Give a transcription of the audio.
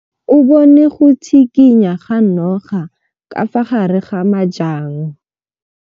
O bone go tshikinya ga noga ka fa gare ga majang.